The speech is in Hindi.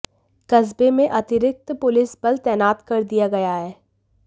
कस्बे में अतिरिक्त पुलिस बल तैनात कर दिया गया है